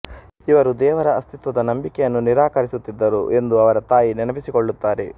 ಇವರು ದೇವರ ಅಸ್ತಿತ್ವದ ನಂಬಿಕೆಯನ್ನು ನಿರಾಕರಿಸುತ್ತಿದ್ದರು ಎಂದು ಅವರ ತಾಯಿ ನೆನಪಿಸಿಕೊಳ್ಳುತ್ತಾರೆ